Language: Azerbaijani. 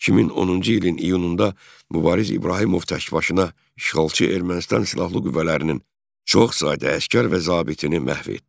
2010-cu ilin iyununda Mübariz İbrahimov təkbaşına işğalçı Ermənistan silahlı qüvvələrinin çoxsaylı əsgər və zabitini məhv etdi.